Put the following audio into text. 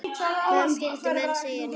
Hvað skyldu menn segja núna?